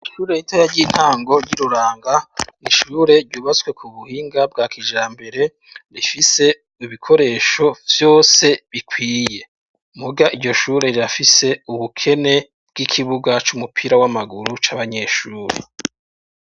Ishure ritoya ry'intango ry'iruranga n'ishure ryubatswe ku buhinga bwa kijambere rifise ibikoresho vyose bikwiye muga iryo shure rirafise ubukene bw'ikibuga c'umupira w'amaguru c'abanyeshure.